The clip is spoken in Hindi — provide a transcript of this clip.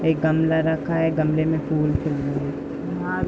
एक गमला रखा है। गमले में फूल खिल --